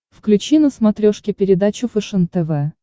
включи на смотрешке передачу фэшен тв